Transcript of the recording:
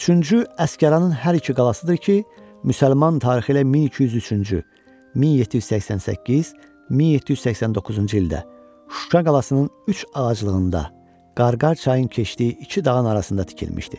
Üçüncü Əsgəranın hər iki qalasıdır ki, müsəlman tarixi ilə 1203-cü, 1788, 1789-cu ildə Şuşa qalasının üç ağaclığında, Qarqarcayın keçdiyi iki dağın arasında tikilmişdi.